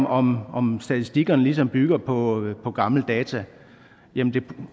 om om statistikerne ligesom bygger på gamle data jamen